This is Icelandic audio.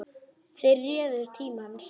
Þeir réðu tíma hans.